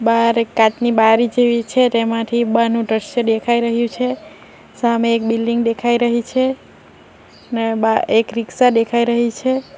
બાર એક કાચની બારી જેવી છે તેમાંથી બારનું દ્રશ્ય દેખાઈ રહ્યું છે સામે એક બિલ્ડીંગ દેખાઈ રહી છે ને બા એક રીક્ષા દેખાઈ રહી છે.